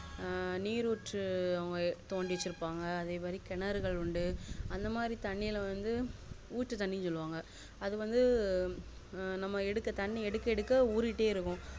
ஆஹ் நீர் ஊற்று அத அவங்க தோண்டி வச்சிருபாங்க அதே மாறி கிணறுகள்வந்து அந்த மாதிரி தண்ணிலவந்து ஊத்து தண்ணி சொலுவாங்க அது வந்து அஹ் அது தண்ணி எடுக்க எடுக்க ஊரிக்கிட்டே இருக்கும்